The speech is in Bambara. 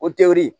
O tewuli